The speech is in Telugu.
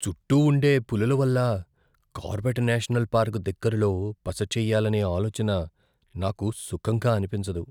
చుట్టూ ఉండే పులుల వల్ల కార్బెట్ నేషనల్ పార్క్ దగ్గరలో బస చేయ్యాలనే ఆలోచన నాకు సుఖంగా అనిపించదు.